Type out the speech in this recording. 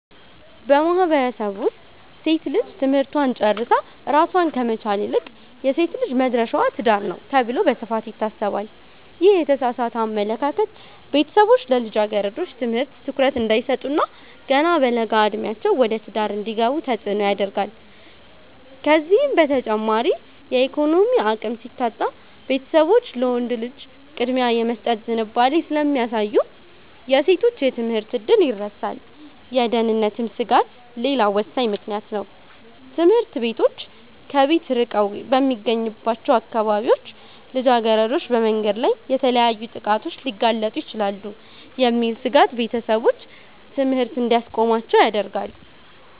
በማህበረሰቡ ውስጥ ሴት ልጅ ትምህርቷን ጨርሳ ራሷን ከመቻል ይልቅ "የሴት ልጅ መድረሻዋ ትዳር ነው" ተብሎ በስፋት ይታሰባል። ይህ የተሳሳተ አመለካከት ቤተሰቦች ለልጃገረዶች ትምህርት ትኩረት እንዳይሰጡ እና ገና በለጋ ዕድሜያቸው ወደ ትዳር እንዲገቡ ተጽዕኖ ያደርጋል። ከዚህም በተጨማሪ የኢኮኖሚ አቅም ሲታጣ፣ ቤተሰቦች ለወንድ ልጅ ቅድሚያ የመስጠት ዝንባሌ ስለሚያሳዩ የሴቶች የትምህርት ዕድል ይረሳል። የደህንነት ስጋትም ሌላው ወሳኝ ምክንያት ነው፤ ትምህርት ቤቶች ከቤት ርቀው በሚገኙባቸው አካባቢዎች ልጃገረዶች በመንገድ ላይ ለተለያዩ ጥቃቶች ሊጋለጡ ይችላሉ የሚል ስጋት ቤተሰቦች ትምህርት እንዲያስቆሟቸው ያደርጋል።